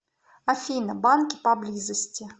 афина банки поблизости